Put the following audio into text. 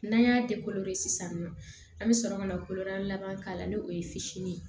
N'an y'a sisan nɔ an bɛ sɔrɔ ka na ko n'an laban k'a la n'o ye fitinin ye